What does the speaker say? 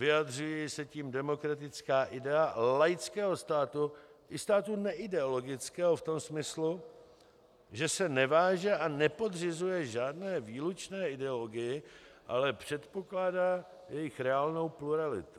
Vyjadřuje se tím demokratická idea laického státu i státu neideologického v tom smyslu, že se neváže a nepodřizuje žádné výlučné ideologii, ale předpokládá jejich reálnou pluralitu.